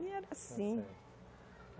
E era assim.